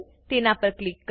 તેના પર ક્લિક કરો